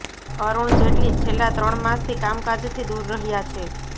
અરુણ જેટલી છેલ્લાં ત્રણ માસથી કામકાજથી દૂર રહ્યાં છે